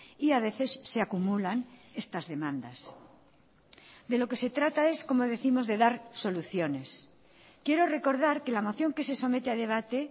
y a veces se acumulan estas demandas de lo que se trata es como décimos de dar soluciones quiero recordar que la moción que se somete a debate